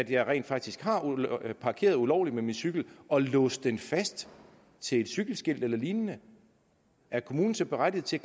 jeg rent faktisk har parkeret ulovligt med min cykel og låst den fast til et cykelskilt eller lignende er kommunen så berettiget til